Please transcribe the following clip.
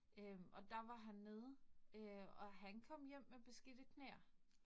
Øh og der var han nede øh, og han kom hjem med beskidte knæ